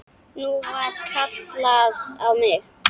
Nú var kallað á mig!